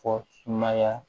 Fɔ sumaya